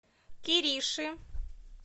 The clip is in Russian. кириши